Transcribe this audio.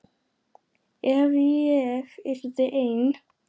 Ef ég yrði ein.